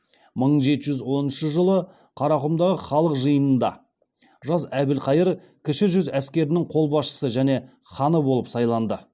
мың жеті жүз оныншы жылы қарақұмдағы халық жиынында жас әбілқайыр кіші жүз әскерінің қолбасшысы және ханы болып сайланды